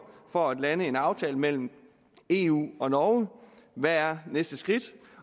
for at lande en aftale mellem eu og norge hvad er næste skridt